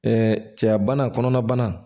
cɛya bana kɔnɔna